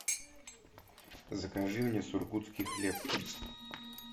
закажи мне сургутский хлеб